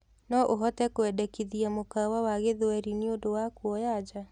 no ũhote kuendekithĩa mũkawa wa gĩthweri ni undu wa kũoya nja